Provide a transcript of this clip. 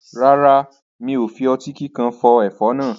Rárá, mi ò fi ọtí kíkan fọ ẹ̀fọ́ náà.